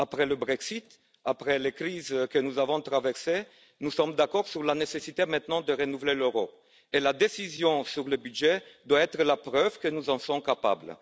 Après le Brexit, après les crises que nous avons traversées, nous sommes d'accord sur la nécessité maintenant de renouveler l'euro, et la décision sur le budget doit être la preuve que nous en sommes capables.